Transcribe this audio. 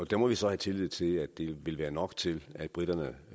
der må vi så have tillid til at det vil være nok til at briterne